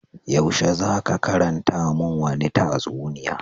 Yaushe za ka karanta mun wani tatsuniya.